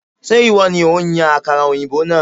Ṣé ìwọ ni òun yan àkàrà òyìnbó náà?